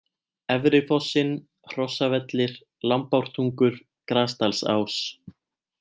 Efri fossinn, Hrossavellir, Lambártungur, Grasdalsás